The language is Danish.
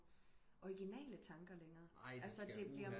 Orginale tanker længere altså det bliver